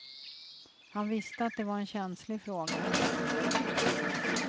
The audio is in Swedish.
Han visste att det var en känslig fråga.